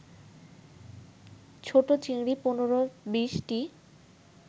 ছোট চিংড়ি ১৫-২০টি